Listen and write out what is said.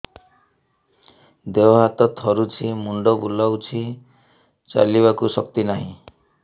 ଦେହ ହାତ ଥରୁଛି ମୁଣ୍ଡ ବୁଲଉଛି ଚାଲିବାକୁ ଶକ୍ତି ନାହିଁ